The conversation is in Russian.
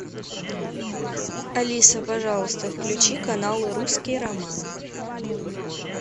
алиса пожалуйста включи канал русский роман